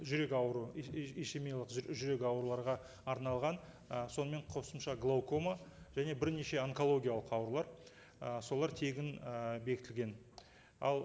жүрек ауруы ишемиялық жүрек ауру оларға арналған ы сонымен қосымша глаукома және бірнеше онкологиялық аурулар ы солар тегін ы бекітілген ал